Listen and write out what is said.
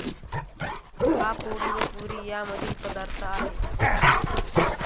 हा पोळी व पुरी या मधील पदार्थ आहे